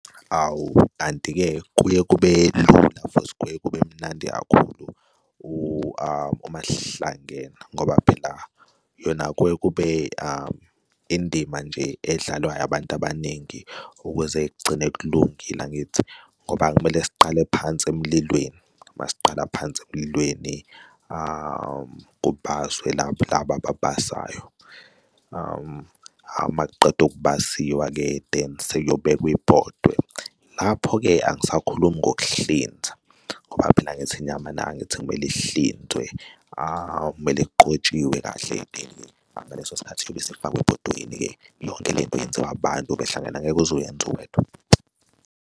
Awu-ke kanti-ke kuye kube lula futhi kuye kube mnandi kakhulu uma sihlangene ngoba phela yona kuye kube indima nje edlalwayo abantu abaningi ukuze kugcine kulungile, angithi? Ngoba kumele siqale phansi emlilweni, masiqala phansi emlilweni kubaswe laphi laba ababasizayo, uma kuqeda ukubasiwa-ke then sekuyobekwa ibhodwe. Lapho-ke angisakhulumi ngokuhlinza ngoba phela angithi inyama nayo angithi kumele ihlinzwe, kumele kuqotshiwe kahle ngaleso sikhathi kuyobe sefakwe ebhodweni-ke. Yonke le nto yenziwa abantu behlangene, angeke uze uyenze uwedwa.